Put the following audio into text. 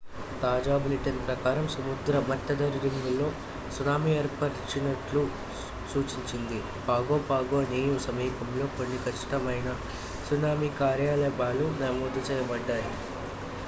తాజా బులెటిన్ ప్రకారం సముద్ర మట్టరీడింగుల్లో సునామీ ఏర్పడినట్లు సూచించింది పాగో పాగో నియూ సమీపంలో కొన్ని ఖచ్చితమైన సునామీ కార్యకలాపాలు నమోదు చేయబడ్డాయి